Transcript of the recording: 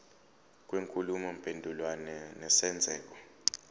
kwenkulumo mpendulwano nesenzeko